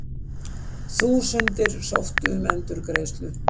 Þúsundir sóttu um endurgreiðslu